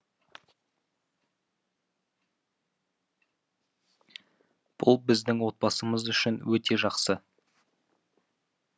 бұл біздің отбасымыз үшін өте жақсы